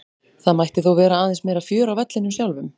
Það mætti þó vera aðeins meira fjör á vellinum sjálfum.